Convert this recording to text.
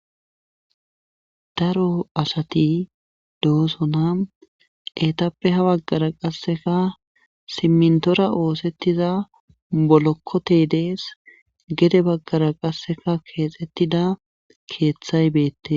Daro asati doosona etappe habaggara qasseka simintora oosettiza bolokkote dees gede baggara qasseka keexettida keeththay beette.